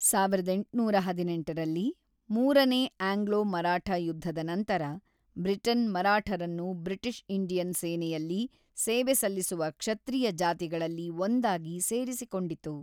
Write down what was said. ಸಾವಿರದ ಎಂಟುನೂರ ಹದಿನೆಂಟರಲ್ಲಿ ಮೂರನೇ ಆಂಗ್ಲೋ-ಮರಾಠ ಯುದ್ಧದ ನಂತರ, ಬ್ರಿಟನ್ ಮರಾಠರನ್ನು ಬ್ರಿಟಿಷ್ ಇಂಡಿಯನ್ ಸೇನೆಯಲ್ಲಿ ಸೇವೆ ಸಲ್ಲಿಸುವ ಕ್ಷತ್ರಿಯ ಜಾತಿಗಳಲ್ಲಿ ಒಂದಾಗಿ ಸೇರಿಸಿಕೊಂಡಿತು.